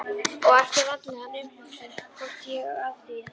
Og eftir vandlega umhugsun komst ég að því að